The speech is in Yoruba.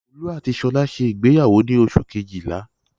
Olú àti Ṣọlá ṣe ìgbéyàwó ní oṣù kejìlá.